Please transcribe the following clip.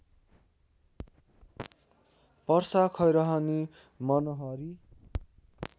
Parsa Khairahani Manahari